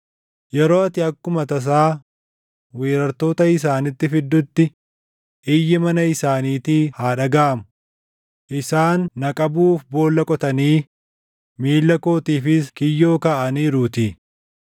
Yeroo ati akkuma tasaa weeraartoota isaanitti fiddutti, iyyi mana isaaniitii haa dhagaʼamu; isaan na qabuuf boolla qotanii, miilla kootiifis kiyyoo kaaʼaniiruutii.